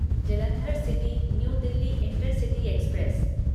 Jalandhar city new Delhi intercity express